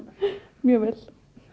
mjög vel